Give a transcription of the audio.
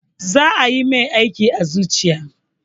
Za ayi mai aiki a zuciya.